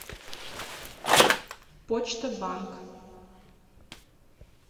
почта банк